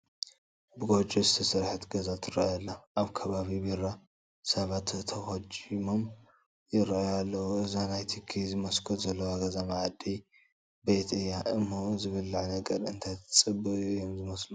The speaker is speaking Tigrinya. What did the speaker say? ብጐጆ ዝተሰርሐት ገዛ ትርአ ኣላ፡፡ ኣብ ከባቢ በራ ሰባት ተኾጂሞም ይርአዩ ኣለዉ፡፡ እዛ ናይ ትኪ መስኮት ዘለዋ ገዛ መኣዲ ቤት እያ እሞ ዝብላዕ ነገር እንዳተፀበዩ እዮም ዝመስሉ፡፡